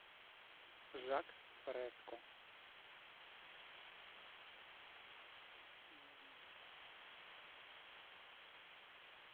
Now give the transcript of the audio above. жак фреско